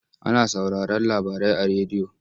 Ana sauraron labarai a rediyo.